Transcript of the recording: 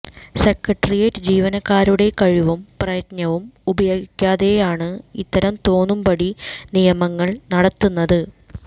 secretariat ജീവനക്കാരുടെ കഴിവും പ്രയത്നവും ഉപയോഗിക്കാതെയാണ് ഇത്തരം തോന്നും പടി നിയമനങ്ങൾ നടത്തുന്നത്